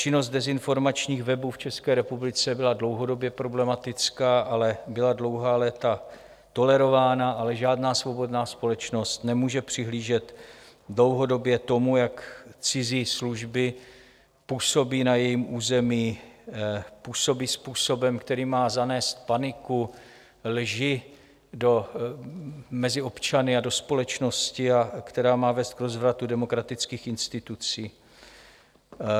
Činnost dezinformačních webů v České republice byla dlouhodobě problematická, ale byla dlouhá léta tolerována, ale žádná svobodná společnost nemůže přihlížet dlouhodobě tomu, jak cizí služby působí na jejím území, působí způsobem, který má zanést paniku, lži mezi občany a do společnosti a která má vést k rozvratu demokratických institucí.